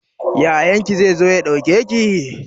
Yayan ki zai zo ya ɗauke ki?